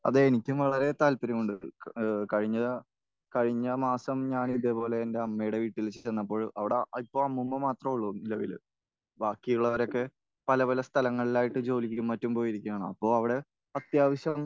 അതെ. എനിക്കും വളരെ താല്പര്യമുണ്ട്. കഴിഞ്ഞ...കഴിഞ്ഞ മാസം ഞാൻ ഇത്പോലെ ഞാൻ എന്റെ അമ്മയുടെ വീട്ടിൽ ചെന്നപ്പോൾ അവിടെ ഇപ്പോൾ അമ്മൂമ്മ മാത്രം ഉള്ളൂ നിലവിൽ. ബാക്കിയുള്ളവരൊക്കെ പല പല സ്ഥലങ്ങളിലായിട്ട് ജോലിക്കും മറ്റും പോയിരിക്കുകയാണ്. അപ്പോൾ അവിടെ അത്യാവശ്യം